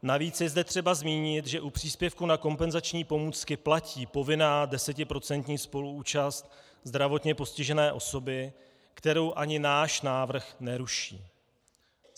Navíc je zde třeba zmínit, že u příspěvku na kompenzační pomůcky platí povinná desetiprocentní spoluúčast zdravotně postižené osoby, kterou ani náš návrh neruší.